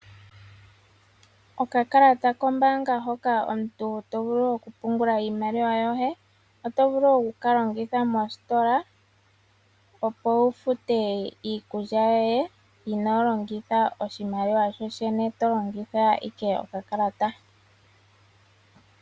Okakalata kombanga hoka omuntu tovulu oku pungula iimaliwa yoye oto vulu oku kalongitha mositola opo wufute iikulya yoye inolongitha oshimaliwa shoshene tolongitha Ike okakalata.